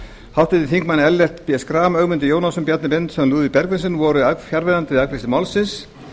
háttvirtir þingmenn ellert b schram ögmundur jónasson bjarni benediktsson og lúðvík bergvinsson voru fjarverandi við afgreiðslu málsins